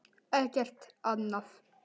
Ekkert annað?